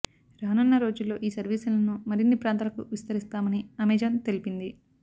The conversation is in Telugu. రానున్న రోజుల్లో ఈ సర్వీసులను మరిన్ని ప్రాంతాలకు విస్తరిస్తామని అమెజాన్ తెలిపింది